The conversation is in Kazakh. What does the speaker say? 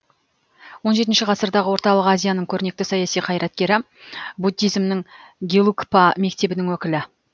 он жетінші ғасырдағы орталық азияның көрнекті саяси қайраткері буддизмнің гелугпа мектебінің өкілі